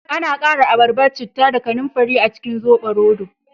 Ana kara abarba, citta da kananfari a cikin zoɓoroto